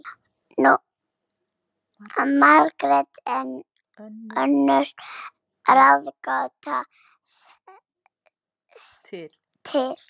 Margrét er önnur gátan til.